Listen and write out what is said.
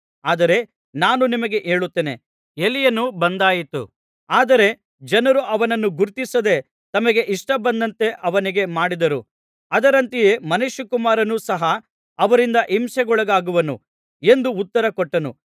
ಆದರೆ ನಾನು ನಿಮಗೆ ಹೇಳುತ್ತೇನೆ ಎಲೀಯನು ಬಂದಾಯಿತು ಆದರೆ ಜನರು ಅವನನ್ನು ಗುರುತಿಸದೆ ತಮಗೆ ಇಷ್ಟಬಂದಂತೆ ಅವನಿಗೆ ಮಾಡಿದರು ಅದರಂತೆಯೇ ಮನುಷ್ಯಕುಮಾರನು ಸಹ ಅವರಿಂದ ಹಿಂಸೆಗೊಳಗಾಗುವನು ಎಂದು ಉತ್ತರ ಕೊಟ್ಟನು